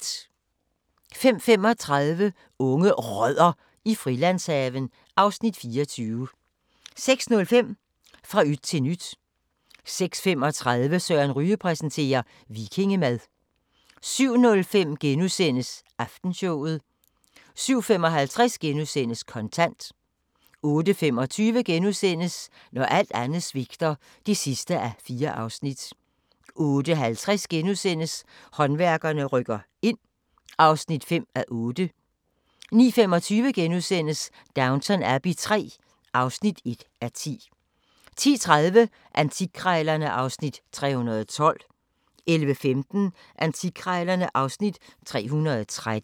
05:35: Unge Rødder i Frilandshaven (Afs. 24) 06:05: Fra yt til nyt 06:35: Søren Ryge præsenterer - vikingemad 07:05: Aftenshowet * 07:55: Kontant * 08:25: Når alt andet svigter (4:4)* 08:50: Håndværkerne rykker ind (5:8)* 09:25: Downton Abbey III (1:10)* 10:30: Antikkrejlerne (Afs. 312) 11:15: Antikkrejlerne (Afs. 313)